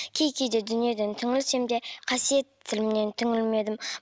кей кейде дүниеден түңілсем де қасиетті тілімнен түңілмедім